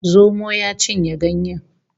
Zomo ya cinye ganyen